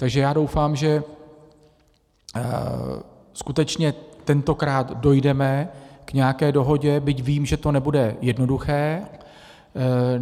Takže já doufám, že skutečně tentokrát dojdeme k nějaké dohodě, byť vím, že to nebude jednoduché.